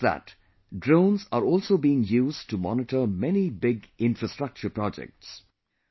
Not just that, drones are also being used to monitor many big infrastructure projects